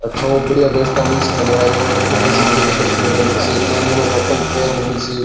अठ ऊ बढ़िया व्यवस्था मिल सी थान --